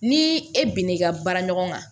Ni e bɛna i ka baara ɲɔgɔn kan